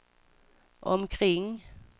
omkring